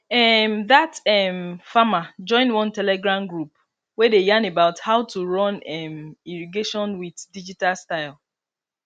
um that um farmer join one telegram group wey dey yarn about how to run um irrigation with digital style